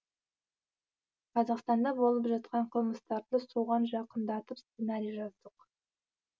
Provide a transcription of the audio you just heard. қазақстанда болып жатқан қылмыстарды соған жақындатып сценарий жаздық